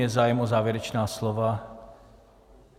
Je zájem o závěrečná slova?